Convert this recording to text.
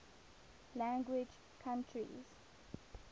language countries